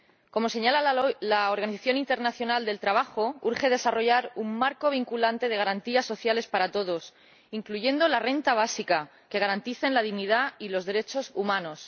Como señala la Organización Internacional del Trabajo, urge desarrollar un marco vinculante de garantías sociales para todos incluyendo la renta básica que garanticen la dignidad y los derechos humanos.